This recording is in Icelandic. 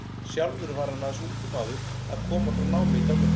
Sjálfur var hann aðeins ungur maður að koma frá námi í Danmörku.